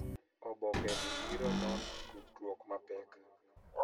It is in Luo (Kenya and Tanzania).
Oboke ni biro nono tudruok mapek